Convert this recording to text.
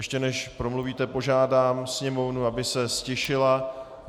Ještě než promluvíte, požádám Sněmovnu, aby se ztišila.